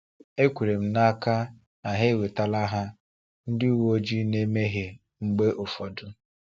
Ekwere m n’aka na ha enwetala ha; ndị uweojii na-emehie mgbe ụfọdụ.